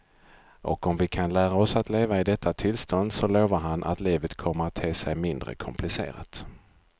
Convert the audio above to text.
Och om vi kan lära oss att leva i detta tillstånd så lovar han att livet kommer att te sig mindre komplicerat.